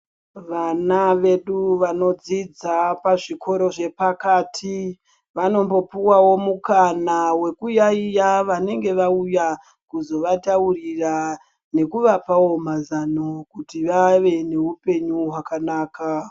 Vana vedu vanodzidza pa zvikora zve pakati vanombo puwawo mukana weku yayiya vanenge vauya kuzova taurira neku vapawo mazano kuti vave ne upenyu hwakanaka.